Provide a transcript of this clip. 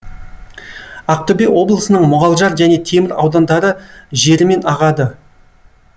ақтөбе облысының мұғалжар және темір аудандары жерімен ағады